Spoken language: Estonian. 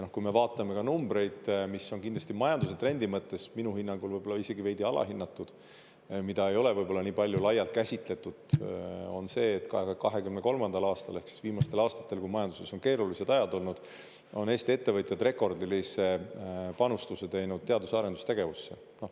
Ja kui me vaatame numbreid – mis on kindlasti majanduse trendi mõttes minu hinnangul võib-olla isegi veidi alahinnatud, mida ei ole võib-olla nii palju laialt käsitletud, on see, et 2023. aastal, ehk siis viimastel aastatel, kui majanduses on keerulised ajad olnud, on Eesti ettevõtjad rekordilise panuse teinud teadus- ja arendustegevusse.